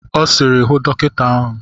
Ọ sịrị, hụ dọkịta ahụ!